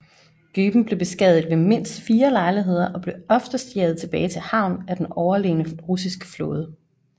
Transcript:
Goeben blev beskadiget ved mindst fire lejligheder og blev oftest jaget tilbage til havn af den overlegne russiske flåde